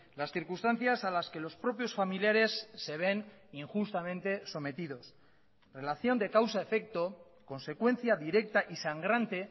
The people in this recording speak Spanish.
las circunstancias a las que los propios familiares se ven injustamente sometidos relación de causa efecto consecuencia directa y sangrante